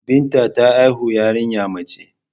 Binta ta haihu yariya mace